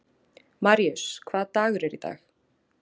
Maríus, hvaða dagur er í dag?